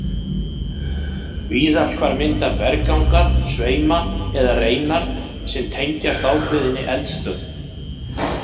Víðast hvar mynda berggangar sveima eða reinar sem tengjast ákveðinni eldstöð.